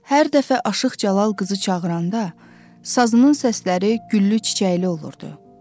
Hər dəfə aşıq Cəlal qızı çağıranda, sazının səsləri güllü-çiçəkli olurdu.